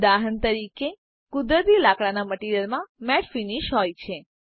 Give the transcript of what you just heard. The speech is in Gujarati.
ઉદાહરણ તરીકે કુદરતી લાકડાના મટીરીઅલમાં મેટ ફીનીશ હોય છે